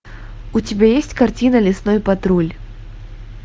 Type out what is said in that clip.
у тебя есть картина лесной патруль